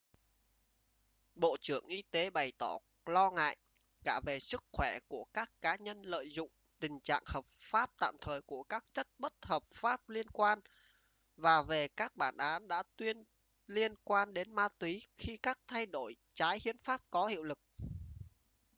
bộ trưởng y tế bày tỏ lo ngại cả về sức khỏe của các cá nhân lợi dụng tình trạng hợp pháp tạm thời của các chất bất hợp phát liên quan và về các bản án đã tuyên liên quan đến ma túy khi các thay đổi trái hiến pháp có hiệu lực